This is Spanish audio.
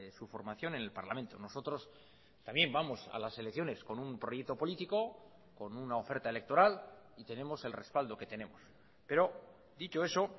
su formación en el parlamento nosotros también vamos a las elecciones con un proyecto político con una oferta electoral y tenemos el respaldo que tenemos pero dicho eso